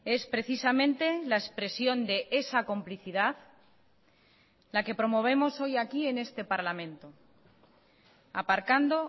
es precisamente la expresión de esa complicidad la que promovemos hoy aquí en este parlamento aparcando